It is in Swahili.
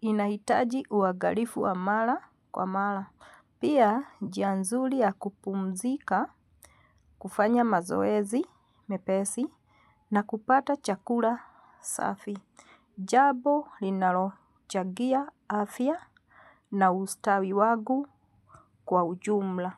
inahitaji uangalifu wa mara kwa mara. Pia ni njia nzuri ya kupumzika kufanya mazoezi mepesi na kupata chakula safi. Jambo linalochangia afya na ustawi wangu kwa ujumla.